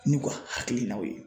N'u ka hakilinaw ye